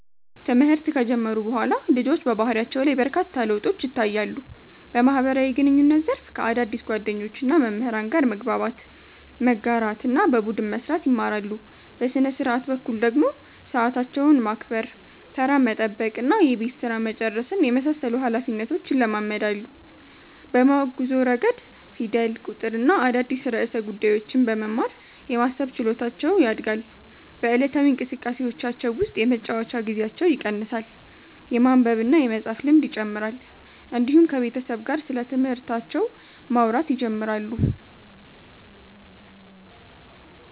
ትምህርት ከጀመሩ በኋላ ልጆች በባህሪያቸው ላይ በርካታ ለውጦች ይታያሉ። በማህበራዊ ግንኙነት ዘርፍ ከአዳዲስ ጓደኞችና መምህራን ጋር መግባባት፣ መጋራትና በቡድን መስራት ይማራሉ። በሥነ-ሥርዓት በኩል ደግሞ ሰዓታቸውን ማክበር፣ ተራ መጠበቅና የቤት ሥራ መጨረስን የመሳሰሉ ኃላፊነቶች ይለማመዳሉ። በማወቅ ጉዞ ረገድ ፊደል፣ ቁጥርና አዳዲስ ርዕሰ ጉዳዮችን በመማር የማሰብ ችሎታቸው ያድጋል። በዕለታዊ እንቅስቃሴዎቻቸው ውስጥ የመጫወቻ ጊዜያቸው ይቀንሳል፣ የማንበብና የመፃፍ ልምድ ይጨምራል፣ እንዲሁም ከቤተሰብ ጋር ስለትምህርታቸው ማውራት ይጀምራሉ።